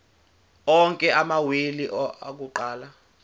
onke amawili akuqala